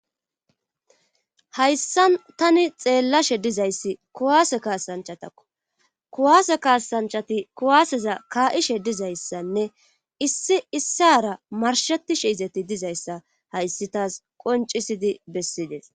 hayssan tani xeellashe dizayssi kuwaase kaasanchatakko kuwaase kaasanchati kuwaaseza kaa7ishe dizayssanne issi issara marshatishe izeti dizayssa hayssi taas qoncisidi bessides